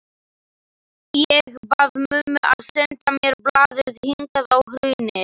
Ég bað mömmu að senda mér blaðið hingað á Hraunið.